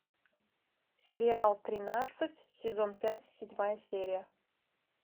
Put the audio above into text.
сериал тринадцать сезон пять седьмая серия